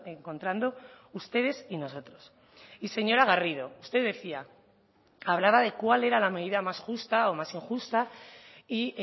encontrando ustedes y nosotros y señora garrido usted decía hablaba de cuál era la medida más justa o más injusta y